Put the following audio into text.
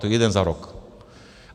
To je jeden za rok.